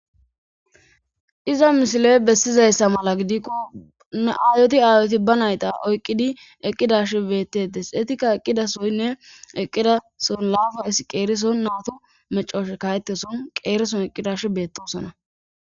iza misiley bessizayssa mala gidikko aayoti aayoti ba nayta oyqqidi eqqidash beettedes eetikka eqqidasoynne eqqidason laafa is qeerison naato mecoshe kayeteson qeereson eqqidash beettosona